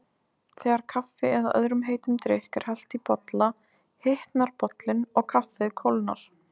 Þegar kaffi eða öðrum heitum drykk er hellt í bolla hitnar bollinn og kaffið kólnar.